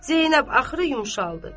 Zeynəb axırı yumşaldı.